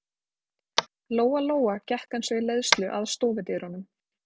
Lóa-Lóa gekk eins og í leiðslu að stofudyrunum.